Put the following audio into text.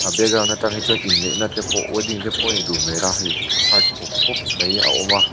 a background atang hi chuan inneihna te pawh wedding te pawh nih duh hmel a hei heart pawp pawp mai a awm a.